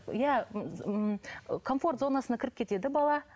иә ыыы комфорт зонасына кіріп кетеді бала